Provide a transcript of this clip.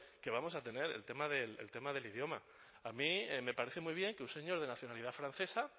que vamos a tener el tema del idioma a mí me parece muy bien que un señor de nacionalidad francesa